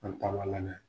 An taama lamɛn